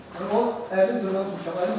Mən onun əlini burdan tutmuşam.